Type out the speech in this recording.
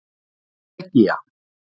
Belgía